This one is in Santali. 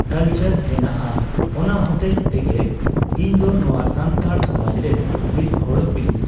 ᱠᱟᱞᱪᱟᱨ ᱦᱮᱱᱟᱜᱼᱟ ᱚᱱᱟ ᱦᱚᱛᱮᱪ ᱛᱮᱜᱮ ᱤᱧᱫᱚ ᱱᱚᱣᱟ ᱥᱟᱱᱛᱟᱲ ᱥᱚᱢᱟᱡᱨᱮᱱ ᱢᱤᱫᱦᱚᱲ ᱦᱩᱭᱩᱜ